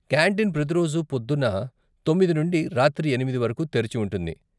Canteen ప్రతి రోజు పొద్దున్న తొమ్మిది నుండి రాత్రి ఎనిమిది వరకు తెరిచి ఉంటుంది.